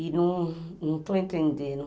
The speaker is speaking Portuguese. E no não estou entendendo.